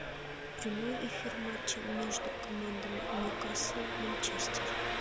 прямой эфир матча между командами ньюкасл манчестер